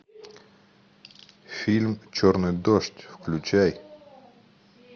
фильм черный дождь включай